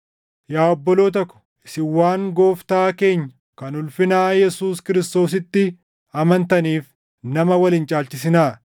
Yaa obboloota ko, isin waan Gooftaa keenya kan ulfinaa Yesuus Kiristoositti amantaniif nama wal hin caalchisinaa.